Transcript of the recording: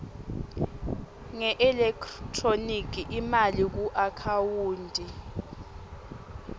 ngeelekthroniki imali kuakhawunti